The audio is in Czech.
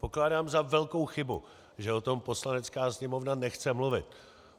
Pokládám za velkou chybu, že o tom Poslanecká sněmovna nechce mluvit.